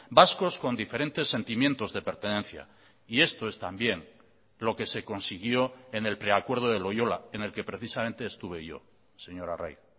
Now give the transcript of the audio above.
vascos con diferentes sentimientos de pertenencia y esto es también lo que se consiguió en el preacuerdo de loyola en el que precisamente estuve yo señor arraiz